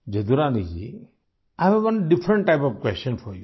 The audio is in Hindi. Jadurani ji I have different type of question for you